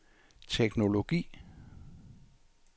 teknologi